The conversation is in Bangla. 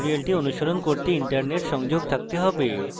tutorial অনুসরণ করতে internet সংযোগ থাকতে have